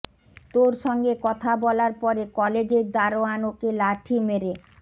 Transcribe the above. তোর সঙ্গে কথা বলার পরে কলেজের দারোয়ান ওকে লাঠি মেরে